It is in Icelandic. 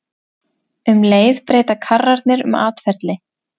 Um leið breyta karrarnir um atferli.